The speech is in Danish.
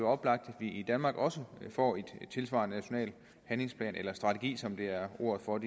oplagt at vi i danmark også får en tilsvarende national handlingsplan eller strategi som er ordet for